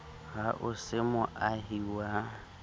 ha o se moahi wa